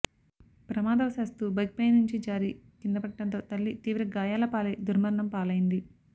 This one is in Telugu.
ప్రమాదవశాత్తు బైక్పై నుంచి జారి కిందపడడంతో తల్లి తీవ్ర గాయాలపాలై దుర్మరణం పాలైంది